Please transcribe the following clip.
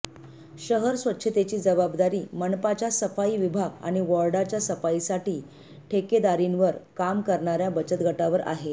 शहर स्वच्छतेची जबाबदारी मनपाच्या सफाई विभाग आणि वॉर्डांच्या सफाईसाठी ठेकेदारीवर काम करणाऱ्या बचतगटांवर आहे